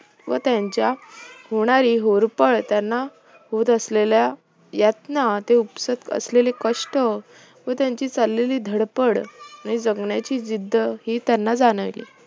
व त्यांच्य होणारी होरपळ, त्यांना होत असलेल्या यातना, ते उपसत असलेले कष्ट, व त्यांची चाललेली धडपड आणि जगण्याची जिद्द ही त्यांना जाणवली